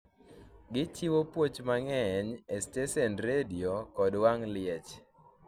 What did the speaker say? gi chiwo puoch mang'eny e stesend redio kod wang' liech